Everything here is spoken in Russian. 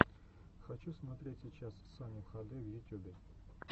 хочу смотреть сейчас саню хд в ютюбе